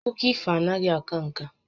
Akụkọ ifo anaghị aka ǹkà